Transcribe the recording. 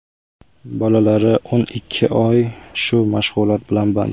Bolalari o‘n ikki oy shu mashg‘ulot bilan band.